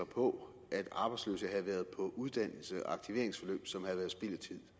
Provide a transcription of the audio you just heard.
på at arbejdsløse havde været på uddannelse og i aktiveringsforløb som havde været spild af tid